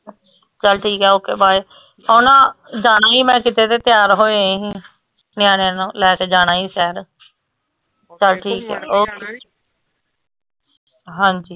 ਚਲ ਠੀਕ ਆ ok bye ਓ ਨਾ ਜਾਣਾ ਹੀ ਮੈ ਕੀਤੇ ਤੇ ਤਿਆਰ ਹੋਏ ਹੀ ਨਯਾਣੇਆਂ ਨੂੰ ਲੈਕੇ ਜਾਣਾ ਹੀ ਸ਼ਾਇਦ ਚਾਲ ਠੀਕ ਆ ok ਹਾਂਜੀ